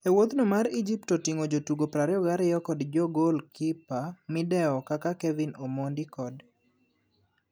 Ewuodhno mar Egypt otingo gotugo 22 kod jogol kippa midewo kaka Kevin omondi kod